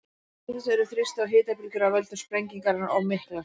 Til þess eru þrýsti- og hitabylgjur af völdum sprengingarinnar of miklar.